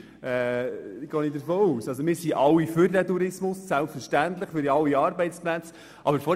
Wir alle sind selbstverständlich für den Tourismus, weil es ja um Arbeitsplätze geht.